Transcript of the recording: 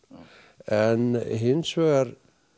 en hins vegar